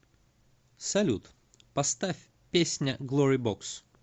салют поставь песня глори бокс